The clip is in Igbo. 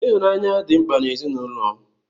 Ịhụnanya dị mkpa n'ezinụlọ.